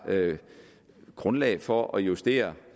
grundlag for at justere